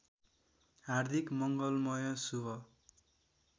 हार्दिक मङ्गलमय शुभ